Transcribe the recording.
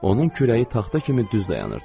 Onun kürəyi taxta kimi düz dayanırdı.